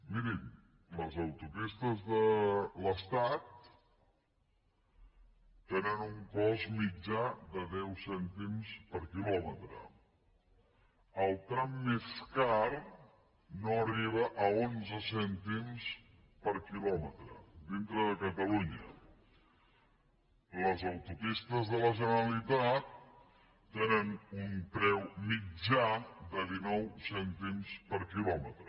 mirin les autopistes de l’estat tenen un cost mitjà de deu cèntims per quilòmetre el tram més car no arriba a onze cèntims per quilòmetre dintre de catalunya les autopistes de la generalitat tenen un preu mitjà de dinou cèntims per quilòmetre